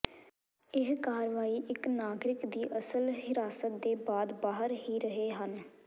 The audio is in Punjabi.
ਇਹ ਕਾਰਵਾਈ ਇੱਕ ਨਾਗਰਿਕ ਦੀ ਅਸਲ ਹਿਰਾਸਤ ਦੇ ਬਾਅਦ ਬਾਹਰ ਹੀ ਰਹੇ ਹਨ